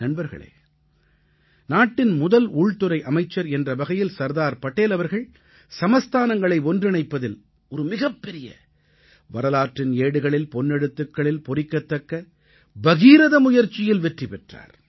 நண்பர்களே நாட்டின் முதல் உள்துறை அமைச்சர் என்ற வகையில் சர்தார் வல்லப்பாய் படேல் அவர்கள் சமஸ்தானங்களை ஒன்றிணைப்பதில் ஒரு மிகப்பெரிய வரலாற்றின் ஏடுகளில் பொன் எழுத்துக்களில் பொறிக்கத்தக்க பகீரத முயற்சியில் வெற்றி பெற்றார்